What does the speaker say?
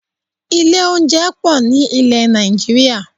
Ilé oúnjẹ pọ̀ ní ilẹ̀ Nàìjíríà